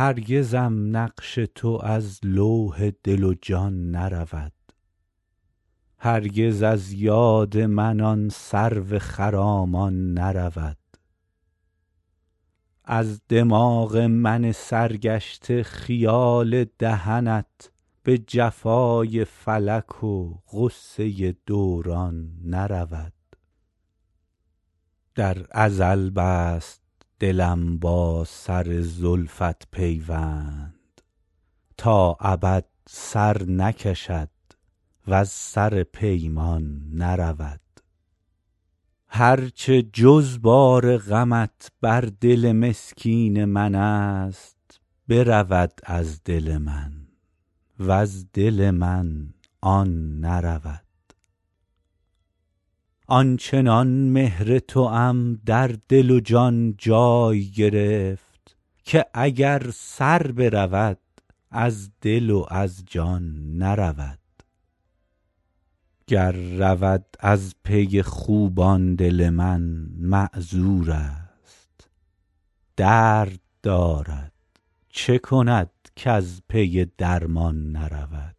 هرگزم نقش تو از لوح دل و جان نرود هرگز از یاد من آن سرو خرامان نرود از دماغ من سرگشته خیال دهنت به جفای فلک و غصه دوران نرود در ازل بست دلم با سر زلفت پیوند تا ابد سر نکشد وز سر پیمان نرود هر چه جز بار غمت بر دل مسکین من است برود از دل من وز دل من آن نرود آن چنان مهر توام در دل و جان جای گرفت که اگر سر برود از دل و از جان نرود گر رود از پی خوبان دل من معذور است درد دارد چه کند کز پی درمان نرود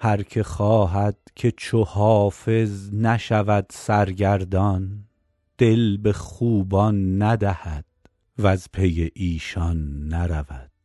هر که خواهد که چو حافظ نشود سرگردان دل به خوبان ندهد وز پی ایشان نرود